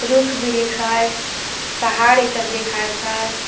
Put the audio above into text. रुख बीरिख हइ पहाड़ ई सब देखाईंत हइ ।